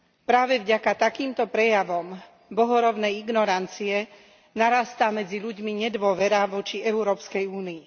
Práve vďaka takýmto prejavom bohorovnej ignorancie narastá medzi ľuďmi nedôvera voči Európskej únii.